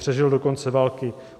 Přežil do konce války.